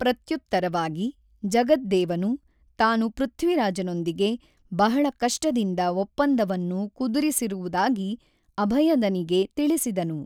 ಪ್ರತ್ಯುತ್ತರವಾಗಿ, ಜಗದ್ದೇವನು ತಾನು ಪೃಥ್ವಿರಾಜನೊಂದಿಗೆ ಬಹಳ ಕಷ್ಟದಿಂದ ಒಪ್ಪಂದವನ್ನು ಕುದುರಿಸಿರುವುದಾಗಿ ಅಭಯದನಿಗೆ ತಿಳಿಸಿದನು.